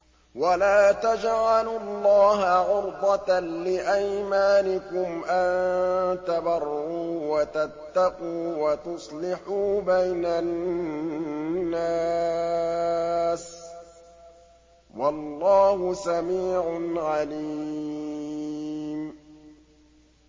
وَلَا تَجْعَلُوا اللَّهَ عُرْضَةً لِّأَيْمَانِكُمْ أَن تَبَرُّوا وَتَتَّقُوا وَتُصْلِحُوا بَيْنَ النَّاسِ ۗ وَاللَّهُ سَمِيعٌ عَلِيمٌ